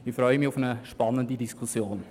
Ich freue mich auf eine spannende Diskussion.